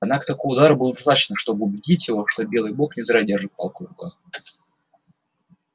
однако такого удара было достаточно чтобы убедить его что белый бог не зря держит палку в руках